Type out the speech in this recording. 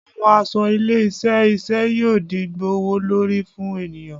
Awọn aṣọ ile-iṣẹ iṣẹ yoo di gbowolori fun eniyan